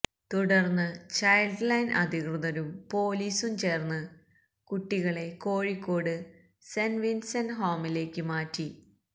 തുടര്ന്ന് child line അധികൃതരും പോലീസും ചേര്ന്ന് കുട്ടികളെ കോഴിക്കോട് സെന്റ് വിന്സെന്റ് ഹോമിലേക്ക് മാറ്റി